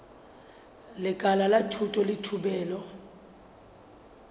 lekala la thuto le thupelo